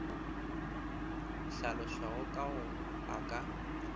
hlalošwago ka go a ka